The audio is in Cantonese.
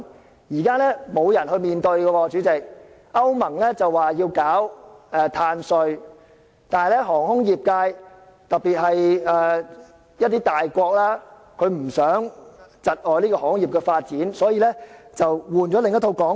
主席，現時沒有人去面對問題，歐盟說要推出碳稅，但航空業界，特別是一些大國不希望窒礙航空業發展，所以便換了另一套說法。